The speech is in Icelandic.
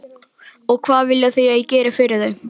Og hvað vilja þau að ég geri fyrir þau?